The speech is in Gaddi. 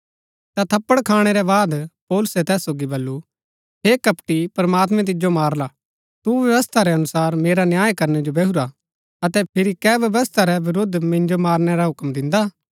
ता थप्पड़ खाणै के बाद पौलुसै तैस सोगी बल्लू हे कपटी प्रमात्मैं तिजो मारला तु व्यवस्था रै अनुसार मेरा न्याय करनै जो बैहुरा अतै फिरी कै व्यवस्था रै विरूद्ध मिन्जो मारनै रा हुक्म दिन्दा